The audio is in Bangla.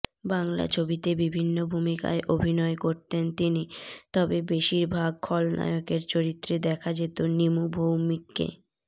বাংলা ছবিতে বিভিন্ন ভূমিকায় অভিনয় করতেন তিনি তবে বেশিরভাগ খলনায়কের চরিত্রে দেখা যেত নিমু ভৌমিককে